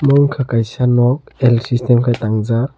unkha kaisa nok l system ke tang jaak.